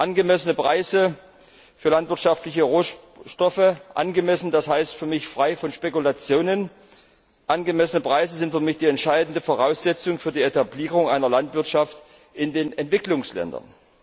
Angemessene Preise für landwirtschaftliche Rohstoffe angemessen heißt für mich frei von Spekulationen sind für mich die entscheidende Voraussetzung für die Etablierung einer Landwirtschaft in den Entwicklungsländern.